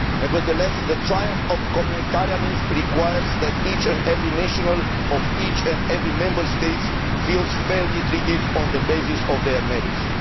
Nevertheless, the triumph of communautarianism' requires that each and every national of each and every Member State feels fairly treated on the basis of their merits.